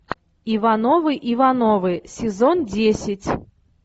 ивановы ивановы сезон десять